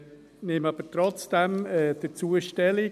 Ich nehme aber trotzdem dazu Stellung.